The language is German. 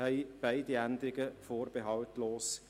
40 Eingaben unterstützten beide Änderungen vorbehaltlos.